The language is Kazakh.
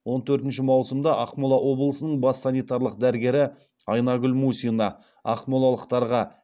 он төртінші маусымда ақмола облысының бас санитарлық дәрігері айнагүл мусина ақмолалықтарға